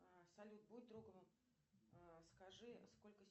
салют будь другом скажи сколько